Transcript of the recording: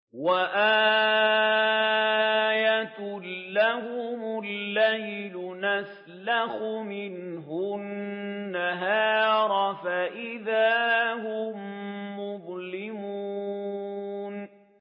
وَآيَةٌ لَّهُمُ اللَّيْلُ نَسْلَخُ مِنْهُ النَّهَارَ فَإِذَا هُم مُّظْلِمُونَ